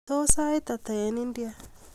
Tos, sait ata eng India